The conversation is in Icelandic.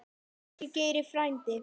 Elsku Geiri frændi.